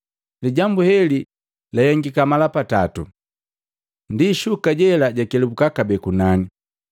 Lijambu heli lahengiki mala patatu, ndi shuka jela jakelabuka kabee kunani.